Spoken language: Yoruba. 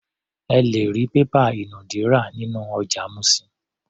Ẹ lè rí pépà ìnùdí rà nínú ọjà Mushin.